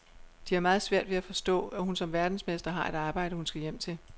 De har meget svært ved at forstå, at hun som verdensmester har et arbejde, hun skal hjem til.